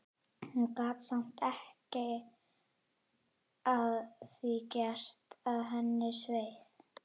Hún gat samt ekki að því gert að henni sveið.